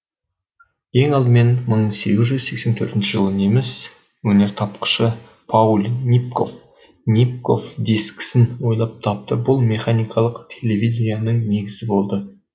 ең алдымен мың сегіз жүз сексен төртінші жылы неміс өнертапқышы пауль нипков нипков дискісін ойлап тапты бұл механикалық телевиденияның негізі болды